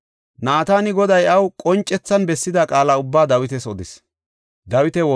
Naatani Goday iyaw qoncethan bessida qaala ubbaa Dawitas odis.